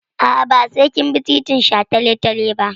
A'a, ba sai kin bi titin shataletale ba.